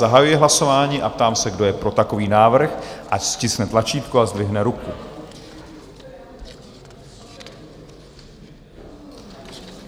Zahajuji hlasování a ptám se, kdo je pro takový návrh, ať stiskne tlačítko a zdvihne ruku.